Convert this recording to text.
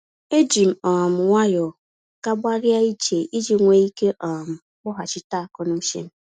E jim um nwayọ gágbarịa ije iji nwee ike um kpọghachịta akọ n'uchem.